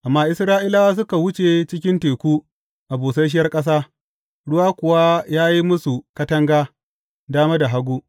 Amma Isra’ilawa suka wuce cikin teku a busasshiyar ƙasa, ruwa kuwa ya yi musu katanga dama da hagu.